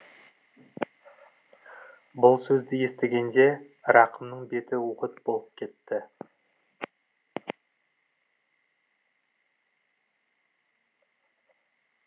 бұл сөзді естігенде рақымның беті от болып кетті